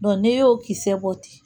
n'e y'o kisɛ bɔ ten